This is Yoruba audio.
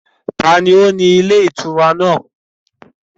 Taàní ó ní ilé ìtura náà?